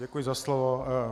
Děkuji za slovo.